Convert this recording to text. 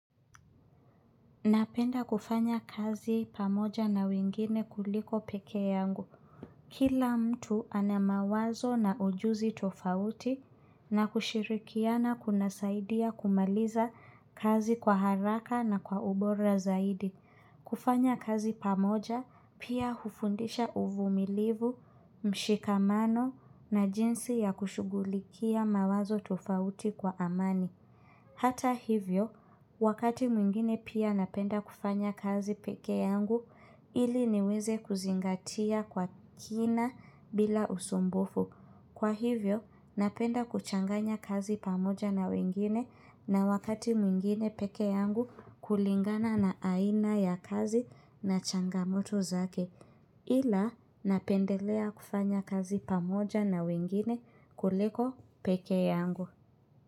Napenda kufanya kazi pamoja na wingine kuliko peke yangu. Kila mtu anamawazo na ujuzi tofauti na kushirikiana kuna saidia kumaliza kazi kwa haraka na kwa ubora zaidi. Kufanya kazi pamoja pia hufundisha uvumilivu, mshikamano na jinsi ya kushugulikia mawazo tofauti kwa amani. Hata hivyo, wakati mwingine pia napenda kufanya kazi peke yangu ili niweze kuzingatia kwa kina bila usumbufu. Kwa hivyo, napenda kuchanganya kazi pamoja na wengine na wakati mwingine peke yangu kulingana na aina ya kazi na changamoto zake. Ila, napendelea kufanya kazi pamoja na wengine kuliko peke yangu.